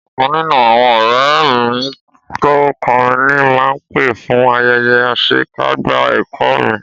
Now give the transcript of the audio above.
Ọ̀kan nínú àwọn ọ̀rẹ́ mi tó ń kọrin ni máa pè fún ayẹyẹ àṣekágbá ẹ̀kọ́ mi